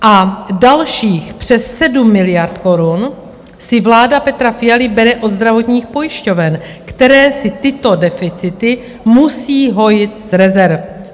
A dalších přes 7 miliard korun si vláda Petra Fialy bere od zdravotních pojišťoven, které si tyto deficity musí hojit z rezerv.